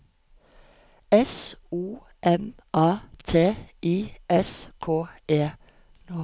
S O M A T I S K E